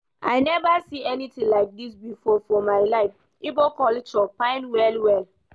I never see anything like dis before for my life. Igbo culture fine well well